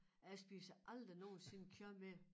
Jeg spiser aldrig nogensinde kød mere